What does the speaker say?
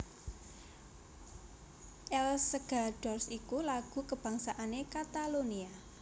Els Segadors iku lagu kabangsané Katalonia